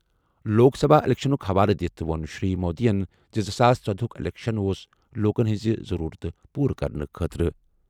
لوک سبھا اِلیکشنُک حوالہٕ دِتھ ووٚن شری مودیَن زِ زٕ ساس ژۄدہُک اِلیکشَن اوس لوٗکَن ہٕنٛز ضروٗرتہٕ پوٗرٕ کرنہٕ خٲطرٕ۔